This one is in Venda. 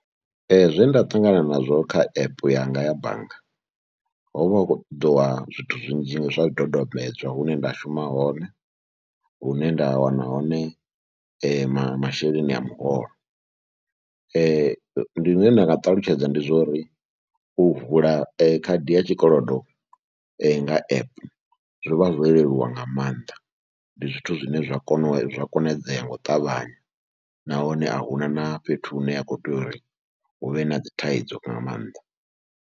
Zwe nda ṱangana nazwo kha app yanga ya bannga ho vha hu khou ṱoḓiwa zwithu zwinzhi zwa dodombedzwa, hune nda shuma hone, hune nda wana hone masheleni a muholo. Ndi zwine nda nga ṱalutshedza ndi zwa uri u vula khadi ya tshikolodo nga app zwi vha zwo leluwa nga maanḓa, ndi zwithu zwine zwa kona konadzea nga u ṱavhanya nahone a hu na na fhethu hune ya khou tea uri hu vhe na dzi thaidzo nga maanḓa.